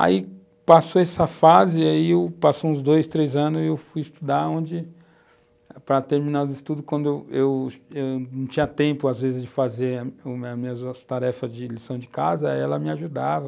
Aí, passou essa fase, aí, passou uns dois, três anos e eu fui estudar onde, para terminar os estudos, quando eu eu eu não tinha tempo, às vezes, de fazer as minhas tarefas de lição de casa, aí ela me ajudava.